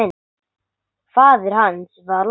Faðir hans var læknir.